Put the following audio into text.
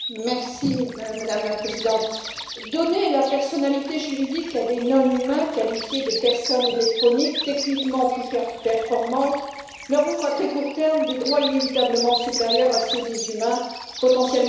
Madame la Présidente, donner la personnalité juridique à des non humains, qualifiés de personnes électroniques techniquement plus performantes, leur ouvre à très court terme des droits inévitablement supérieurs à ceux des humains potentiellement faillibles.